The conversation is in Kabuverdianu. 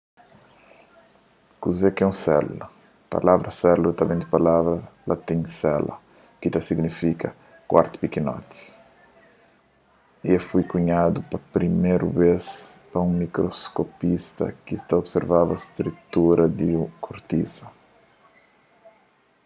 kuze ki é un sélula palavra sélula ta ben di palavra latin cella ki ta signifika kuartu pikinoti y el foi kunhadu pa priméru bês pa un mikroskopista ki ta observaba strutura di kortisa